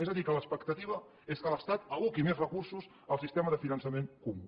és a dir que l’expectativa és que l’estat aboqui més recursos al sistema de finançament comú